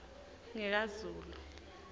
ngikazulu